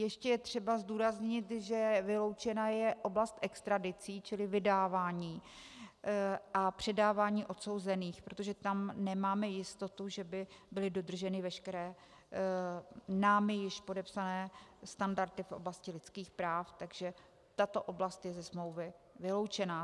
Ještě je třeba zdůraznit, že vyloučena je oblast extradicí, čili vydávání a předávání odsouzených, protože tam nemáme jistotu, že by byly dodrženy veškeré námi již podepsané standardy v oblasti lidských práv, takže tato oblast je ze smlouvy vyloučena.